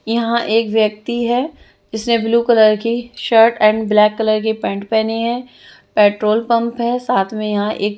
यहाँ एक व्यक्ति हे जिसने ब्लू कलर की शर्ट एंड ब्लेक कलर की पेंट पहनी हें पेट्रोल पम्प है साथ में यहाँ एक--